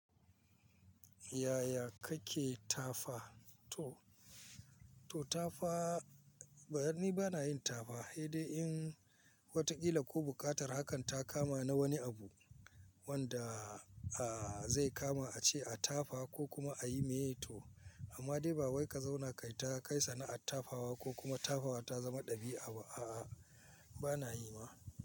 Yaya kake tafa to? To tafa ni bani yin tafa, sai dai in wataƙila ko buƙatar hakan ta kama na wani abu wanda zai kama a ce a tafa ko kuma a yi meye to. Amma dai ba wai ka zauna kaita kai ta kai sana ar tafawa ko kuma tafawa ta zama ɗabi'a ba a a bana yi ma.